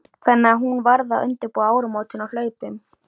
Þannig að hún varð að undirbúa áramótin á hlaupum.